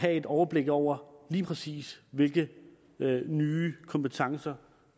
have et overblik over lige præcis hvilke nye kompetencer